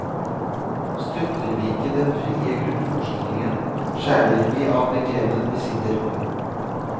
Støtter vi ikke den frie grunnforskningen, skjærer vi av den grenen vi sitter på.